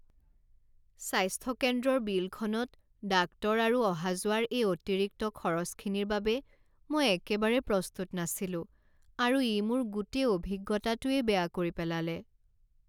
স্বাস্থ্য কেন্দ্ৰৰ বিলখনত ডাক্তৰ আৰু অহা যোৱাৰ এই অতিৰিক্ত খৰচখিনিৰ বাবে মই একেবাৰে প্ৰস্তুত নাছিলো আৰু ই মোৰ গোটেই অভিজ্ঞতাটোৱেই বেয়া কৰি পেলালে।